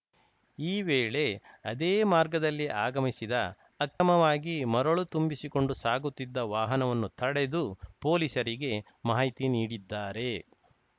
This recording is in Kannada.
ಈ ವೇಳೆ ಅದೇ ಮಾರ್ಗದಲ್ಲಿ ಆಗಮಿಸಿದ ಅಕ್ರಮವಾಗಿ ಮರಳು ತುಂಬಿಸಿಕೊಂಡು ಸಾಗುತ್ತಿದ್ದ ವಾಹನವನ್ನು ತಡೆದು ಪೊಲೀಸರಿಗೆ ಮಾಹಿತಿ ನೀಡಿದ್ದಾರೆ